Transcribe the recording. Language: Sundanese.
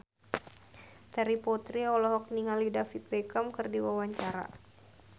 Terry Putri olohok ningali David Beckham keur diwawancara